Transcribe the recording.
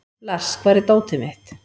Lars, hvar er dótið mitt?